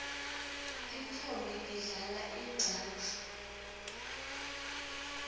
tintfombi tidlala ingcatfu